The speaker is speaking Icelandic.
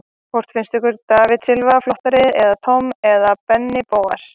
Hvort finnst ykkur David Silva flottari sem Tom eða Benni Bóas?